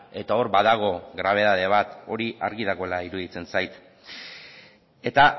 eta hor badago grabedade bat hori argi dagoela iruditzen zait eta